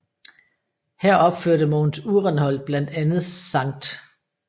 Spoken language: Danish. Her opførte Mogens Uhrenholt blandt andet Skt